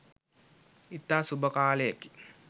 ඉතා සුබ කාලයකි.